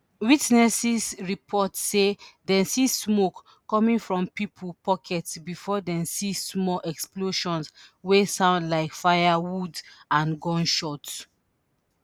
witnesses report say dem see smoke coming from pipo pockets before dem see small explosions wey sound like fireworks and gunshots.